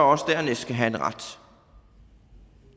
også dernæst skal have en ret